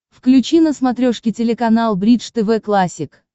включи на смотрешке телеканал бридж тв классик